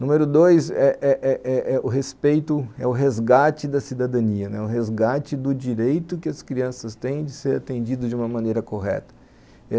Número dois é é é é é o respeito, é o resgate da cidadania, é o resgate do direito que as crianças têm de ser atendidas de uma maneira correta.